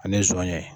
Ani zɔnɲɛ